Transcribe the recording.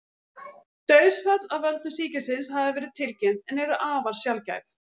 Dauðsföll af völdum sýkilsins hafa verið tilkynnt en eru afar sjaldgæf.